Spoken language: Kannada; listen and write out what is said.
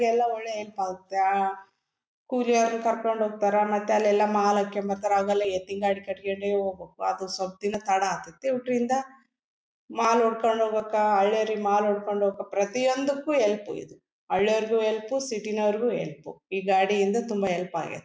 ಈಗೆಲ್ಲ ಒಳ್ಳೆ ಹೆಲ್ಪ್ ಆಗುತ್ತೆ ಆಹ್ಹ್ಹ್ ಕೂಲಿಯವರನ್ನ ಕರ್ಕೊಂಡು ಹೋಗ್ತಾರಾ ಮತ್ತ್ ಅಲ್ಲೆಲ್ಲ ಮಾಲ್ ಹಾಕೊಂಡು ಬರ್ತಾರಾ ಅವಾಗೆಲ್ಲ ಎತ್ತಿನಗಾಡಿ ಕಟ್ಕೊಂಡು ಹೋಗ್ಬೇಕು ಅದು ಸ್ವಲ್ಪ ದಿನ ತಡಾಗ್ತೇತ್ತಿ ಒಟ್ಟು ಇದರಿಂದ ಮಾಲ್ ಹೊಡ್ಕೊಂಡು ಹೋಗ್ಬೇಕಾ ಹಳ್ಳಿಯವರಿಗೆ ಮಾಲ್ ಕೊಡಿಕೊಂಡು ಹೋಗ್ಬೇಕು ಪ್ರತಿಯೊಂದಕ್ಕೂ ಹೆಲ್ಪ್ ಇದು ಹಳ್ಳಿಯವರಿಗೂ ಹೆಲ್ಪ್ ಸಿಟಿ ನವರಿಗೂ ಹೆಲ್ಪ್ ಈ ಗಾಡಿಯಿಂದ ತುಂಬಾ ಹೆಲ್ಪ್ ಅಗೈತ್ತಿ.